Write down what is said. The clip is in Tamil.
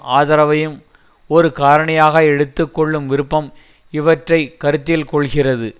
ஆதரவையும் ஒரு காரணியாக எடுத்து கொள்ளும் விருப்பம் இவற்றை கருத்தில் கொள்கிறது